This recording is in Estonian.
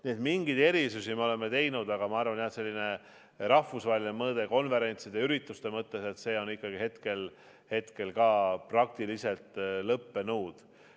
Nii et mingeid erisusi me oleme teinud, aga ma arvan, et selline rahvusvaheline mõõde konverentside ja muude ürituste mõttes on hetkel praktiliselt kadunud.